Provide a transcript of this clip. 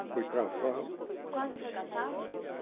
Fui cassado Quase foi cassado?